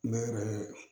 Ne yɛrɛ